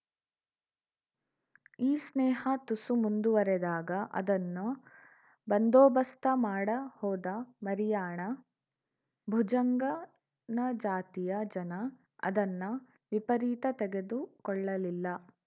ಈ ಸ್ನೇಹ ತುಸು ಮುಂದುವರೆದಾಗ ಅದನ್ನ ಬಂದೋ ಬಸ್ತ ಮಾಡ ಹೋದ ಮರಿಯಾಣ ಭುಜಂಗನ ಜಾತಿಯ ಜನ ಅದನ್ನ ವಿಪರೀತ ತೆಗೆದು ಕೊಳ್ಳಲಿಲ್ಲ